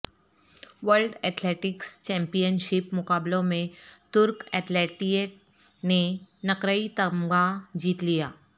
world athletics championship مقابلوں میں ترک ایتھلیٹ نے نقرئی تمغہ جیت لیا